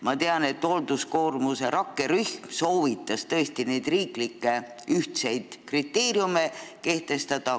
Ma tean, et hoolduskoormuse rakkerühm soovitas need ühtsed riiklikud kriteeriumid kehtestada.